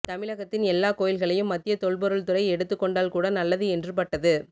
தமிழகத்தின் எல்லா கோயில்களையும் மத்திய தொல்பொருள்துறை எடுத்துக்கொண்டால்கூட நல்லது என்று பட்டது